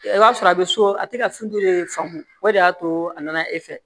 I b'a sɔrɔ a bɛ so a tɛ ka faamu o de y'a to a nana e fɛ